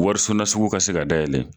Wariso nasugu ka se ka dayɛlɛn